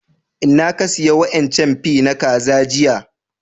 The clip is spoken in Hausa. Inna ka siya wa'incan fie na kaza jiya?